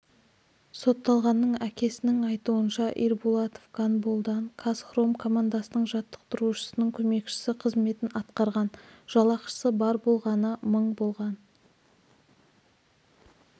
сотталғанның әкесінің айтуынша ирбулатов гандболдан қазхром командасының жаттықтырушысының көмекшісі қызметін атқарған жалақысы бар болғаны мың болған